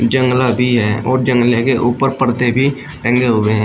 जंगला भी है और जंगले के ऊपर पर्दे भी टंगे हुए हैं।